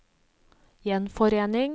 gjenforening